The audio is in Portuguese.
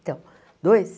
Então, dois?